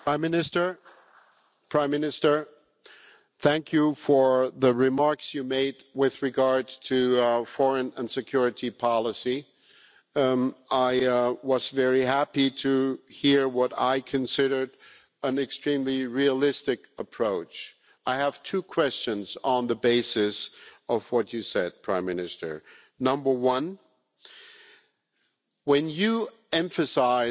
Mr President, I would like to thank the Prime Minister for the remarks he made with regard to our foreign and security policy. I was very happy to hear what I considered an extremely realistic approach. I have two questions on the basis of what you said, Prime Minister. Number one when you emphasise